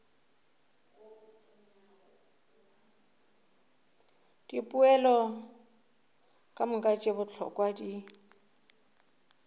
dipoelo kamoka tše bohlokwa di